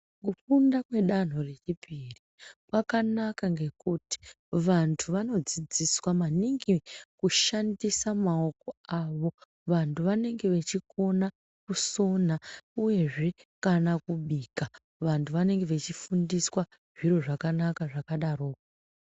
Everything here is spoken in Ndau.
Kufunda kwedanho rechipiri kwakanaka ngekuti vantu vanodzidziswa maningi kushandisa maoko avo. Vantu vanenge vachikona kusona, uyezve kana kubika. Vantu vanenge vachifundiswa zviro zvakanaka zvakadaroko.